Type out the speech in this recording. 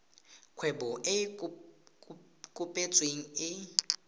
kgwebo e e kopetsweng e